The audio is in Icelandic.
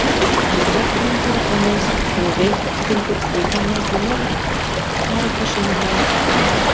Hann er Borgfirðingur og Reykhyltingur, ég kannaðist við marga sömu menn og hann.